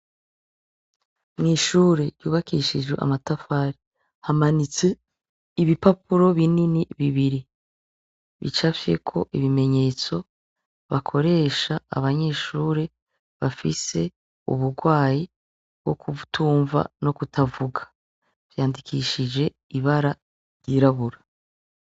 Mw'ishure ryubakishijwe amatafari hamanitse ibipapuro binini bibiri bicafyeko ibimenyetso bakoresha abanyeshure bafise uburwayi bwo kutumva no kutavuga vyandikishije ibara ry'irabura.